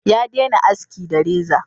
Ya dena haski da reza